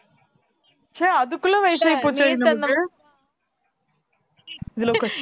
ச்சே அதுக்குள்ள வயசாகி போச்சாடி நமக்கு இதுல உக்கார்